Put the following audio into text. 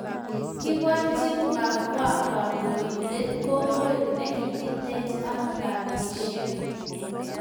Kiporchii Pakoa kandoindet kokweet nekikitech ak patisiek